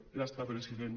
ja està president